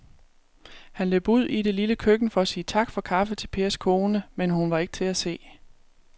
Han løb ud i det lille køkken for at sige tak for kaffe til Pers kone, men hun var ikke til at se.